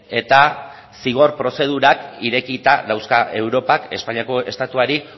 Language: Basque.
eta zigor prozedurak irekita dauzka europak espainiako estatuari